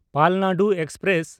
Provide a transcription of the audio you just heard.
Palnadu express